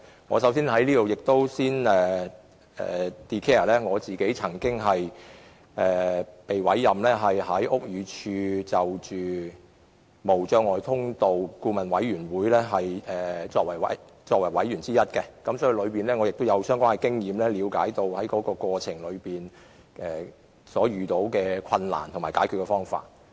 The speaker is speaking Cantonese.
我在此先申報，我曾獲委任為屋宇署無阻通道諮詢委員會的委員，因此我有相關經驗，亦了解在過程中遇到的困難和有何解決方法。